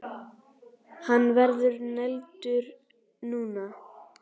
Hann verður negldur núna!